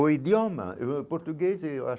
O idioma, eu português eu acho